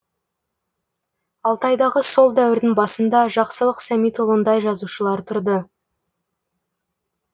алтайдағы сол дәуірдің басында жақсылық сәмитұлындай жазушылар тұрды